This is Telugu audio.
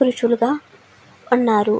పురుషులు గా ఉన్నారు.